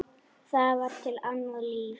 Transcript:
Það var til annað líf.